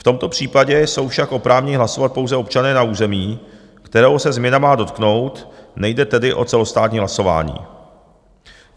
V tomto případě jsou však oprávněni hlasovat pouze občané na území, kterého se změna má dotknout, nejde tedy o celostátní hlasování.